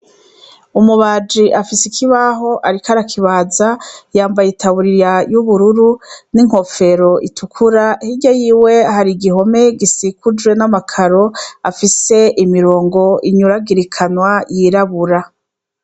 Umubaji afise ikibaho ariko arakibaza, yambaye itaburiya y'ubururu, inkofero itukura, hirya yiwe hari igihome gisikujwe n'amakaro afise imirongo inyuragurikanwa y'irabura.